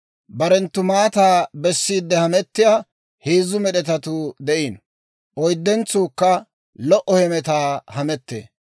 Barenttu maataa bessiidde hamettiyaa heezzu med'etatuu de'iino; oyddentsuukka lo"o hemetaa hamettee.